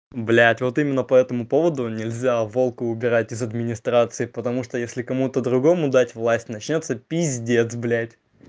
блядь вот именно по этому поводу нельзя волка убирать из администрации потому что если кому-то другому дать власть начнётся пиздец блядь